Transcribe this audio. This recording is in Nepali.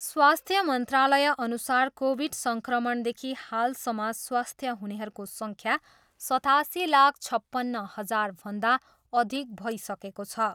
स्वास्थ्य मन्त्रालयअनुसार कोभिड सङ्क्रमणदेखि हालसम्म स्वास्थ्य हुनेहरूको सङ्ख्या सतासी लाख छपन्न हजारभन्दा अधिक भइसकेको छ।